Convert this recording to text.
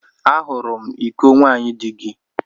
Ahụrụ m iko nwaanyị di gị.